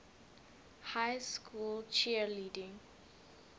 high school cheerleading